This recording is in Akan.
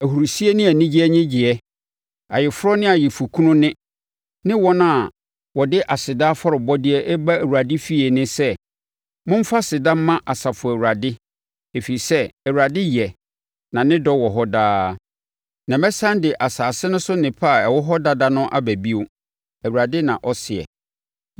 ahurisie ne anigyeɛ nnyegyeɛ, ayeforɔ ne ayeforɔkunu nne ne wɔn a wɔde aseda afɔrebɔdeɛ reba Awurade efie nne sɛ, “ ‘Momfa aseda mma Asafo Awurade, ɛfiri sɛ Awurade yɛ, na ne dɔ wɔ hɔ daa.’ ” Na mɛsane de asase no so nnepa a ɛwɔ hɔ dada no aba bio, Awurade, na ɔseɛ.